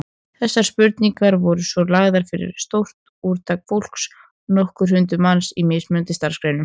Þessar spurningar voru svo lagðar fyrir stórt úrtak fólks, nokkur hundruð manns, í mismunandi starfsgreinum.